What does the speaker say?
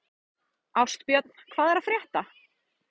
Ástbjörn, hvað er að frétta?